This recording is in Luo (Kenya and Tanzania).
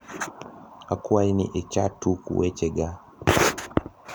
akwayi ni icha tuk wech ga